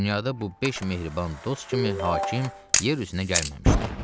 Dünyada bu beş mehriban dost kimi hakim yer üzünə gəlməmişdi.